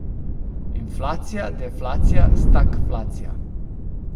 Inflacija, deflacija, stagflacija?